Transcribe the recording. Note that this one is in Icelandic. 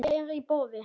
Hvað er í boði?